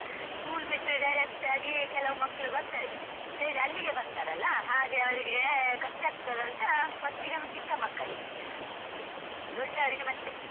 School ಬಿಟ್ಟು direct ಆಗಿ ಕೆಲವು ಮಕ್ಕಳು ಬರ್ತಾರೆ straight ಅಲ್ಲಿಗೆ ಬರ್ತಾರಲ್ಲ ಹಾಗೆ ಅವರಿಗೆ ಕಷ್ಟ ಆಗ್ತದಂತ first ಗೆ ಚಿಕ್ಕ ಮಕ್ಕಳಿಗೆ, ದೊಡ್ಡವರಿಗೆ ಮತ್ತೆ.